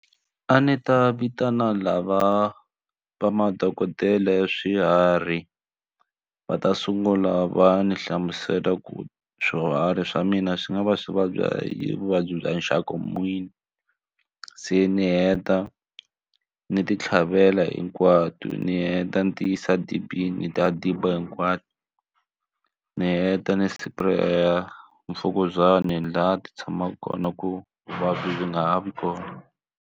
A ndzi ta vitana lava va madokodela ya swiharhi va ta sungula va ni hlamusela ku swiharhi swa mina swi nga va swi vabya hi vuvabyi bya nxaka n'wini se ni heta ni ti tlhavela hinkwato ni heta ni ti se dibini ta diba hinkwato ni heta ni spare mfukuzana laha ti tshamaka kona ku vuvabyi byi nga ha vi kona.